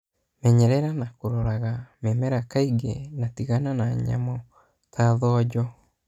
Mĩnyerera na kũroraga mĩmera kainge na tigana na nyamũ ta thonjo.